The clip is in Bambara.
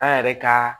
An yɛrɛ ka